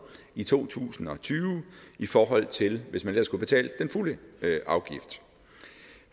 i to tusind og tyve i forhold til hvis man ellers skulle have betalt den fulde afgift